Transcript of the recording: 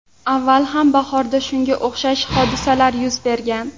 Avval ham bahorda shunga o‘xshash hodisalar yuz bergan.